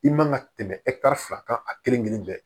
I man ka tɛmɛ fila kan a kelen kelen bɛɛ